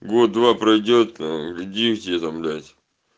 год-два пройдёт дети там блять